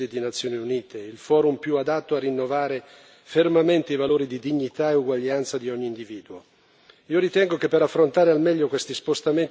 E dove discutere di soluzioni globali se non in sede di Nazioni Unite, il forum più adatto a rinnovare fermamente i valori di dignità e uguaglianza di ogni individuo?